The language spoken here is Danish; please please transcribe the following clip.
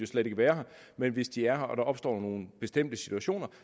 slet ikke være her men hvis de er her og der opstår nogle bestemte situationer